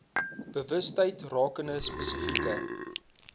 bewustheid rakende spesifieke